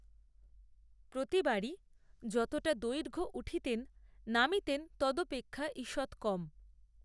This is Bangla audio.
প্রতিবারই যতটা দৈর্ঘ্য উঠিতেন নামিতেন তদপেক্ষা ঈষত্ কম